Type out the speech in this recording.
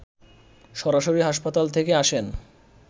সরাসরি হাসপাতাল থেকে আসেন